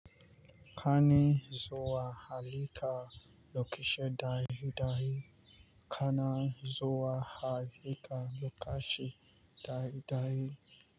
Kani zuwa halitta lokacin dare dare. Kana zuwa halitta lokacin dare dare.